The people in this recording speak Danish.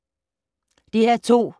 DR2